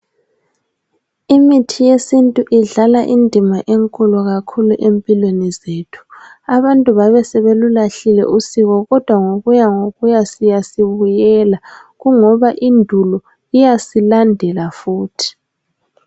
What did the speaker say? Imithi yesintu idlala indima enkulu kakhulu empilweni zethu. Abantu basebelulahlile usiko kodwa ngokuya ngokuya siyasi buyela kungoba indulo iyasilandela futhi.